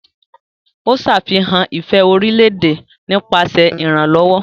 O ṣe àfihàn ifẹ orilẹ-ede nípasẹ iranlọwọ.